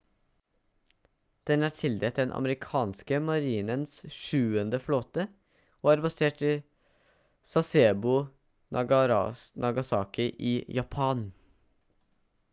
den er tildelt den amerikanske marinens sjuende flåte og er basert i sasebo nagasaki i japan